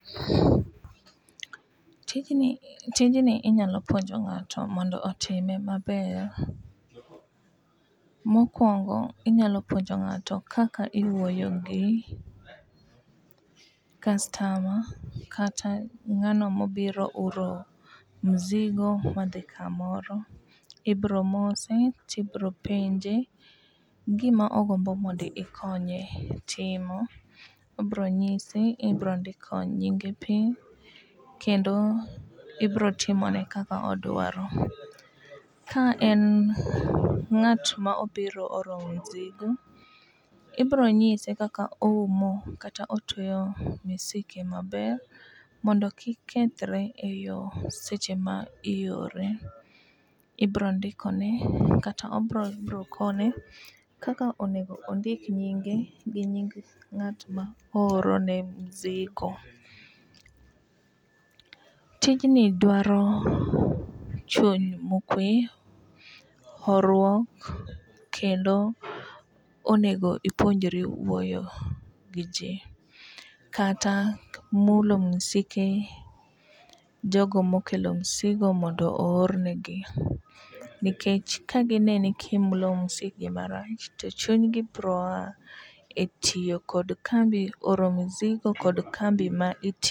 Tijni tijni inyalo puonjo ng'ato mondo otime maber. Mokwongo inyalo puonjo ng'ato kaka iwuoyo gi kastama kata ng'ano mobiro oro mzigo madhi kamoro .Ibro mose tibro penje gima ogombo mondo ikonye timo . Obro nyisi ibro ndiko nyinge piny kendo ibro timone kaka odwaro . Ka en ng'at mobiro oro mzigo ibro nyise kaka oumo kata otweyo msike maber mondo kik kethre e yoo seche ma iore. Ibro ndiko ne kata obro ibro kone kaka onego ondik nyinge gi nying ng'at ma ooro ne mzigo. Tijni dwaro chuny mokwe horuok kendo onego ipuonjri wuoyo gi jii kata mulo misike jogo mokelo msigo mondo oor negi nikech kagineni kimulo msikgi marach to chunygi bro a e tiyo kod kambi e oro msigo kod kambi ma iti